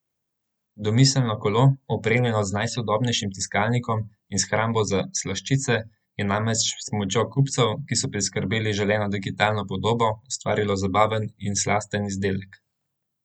Domiselno kolo, opremljeno z najsodobnejšim tiskalnikom in shrambo za slaščice, je namreč s pomočjo kupcev, ki so priskrbeli želeno digitalno podobo, ustvarilo zabaven in slasten izdelek!